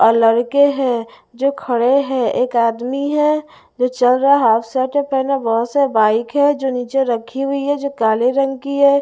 और लड़के हैं जो खड़े हैं एक आदमी है जो चल रहा हाफ स्वेटर पहना बहुत सारे बाइक हैं जो नीचे रखी हुई हैं जो काले रंग की हैं।